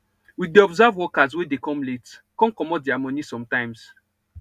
we dey observe workers wey dey come late con commot diir moni sometimes